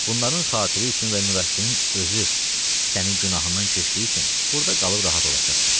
Bunların xatiri üçün və Nurəddinin özü sənin günahından keçdiyi üçün burda qalıb rahat olacaqsan.